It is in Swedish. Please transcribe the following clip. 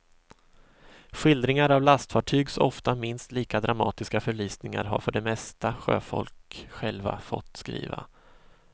Skildringar av lastfartygs ofta minst lika dramatiska förlisningar har för det mesta sjöfolk själva fått skriva.